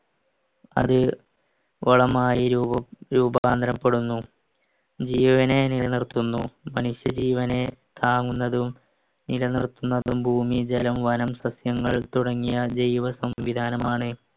അത് വളമായി രൂപകാന്തരപ്പെടുന്നു ജീവനെ നിലനിർത്തുന്നു മനുഷ്യജീവനെ താങ്ങുന്നതും നിലനിർത്തുന്നതും ഭൂമി ജലം വനം സസ്യങ്ങൾ തുടങ്ങിയ ജൈവ സംവിധാനമാണ്